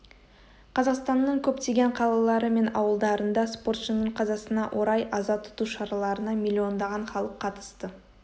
қазақстанның көптеген қалалары мен ауылдарында спортшының қазасына орай аза тұту шараларына миллиондаған халық қатысты